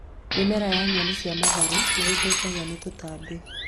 Mĩmera ya nyeni cia matharũ nĩ ĩthũkagio nĩ tũtambi